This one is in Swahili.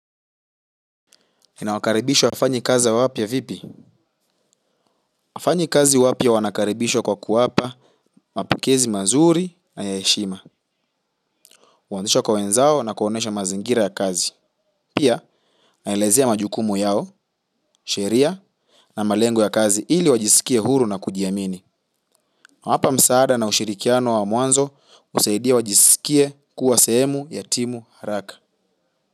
Ninawakaribisha wafanyikazi wapya vipi? Wafanyikazi wapya wanakaribishwa kwa kuwapa, mapokezi mazuri na ya heshima. Huanzishwa kwa wenzao na kuwaonyesha mazingira ya kazi. Pia, naelezea majukumu yao, sheria na malengo ya kazi ili wajisikie huru na kujiamini. Hapa msaada na ushirikiano wa mwanzo husaidia wajisikie kuwa sehemu ya timu haraka.